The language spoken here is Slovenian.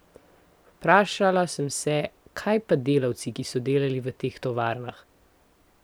Vprašala sem se, kaj pa delavci, ki so delali v teh tovarnah?